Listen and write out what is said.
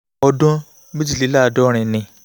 ọdún mẹ́rìnléláàádọ́rin ni